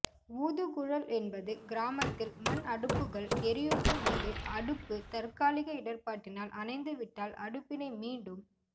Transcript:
ஊது குழல் என்பது கிராமத்தில் மண் அடுப்புகள் எரியூட்டும்போது அடுப்பு தற்காலிக இடர்பாட்டினால் அனைந்துவிட்டால் அடுப்பினை மீண்டும்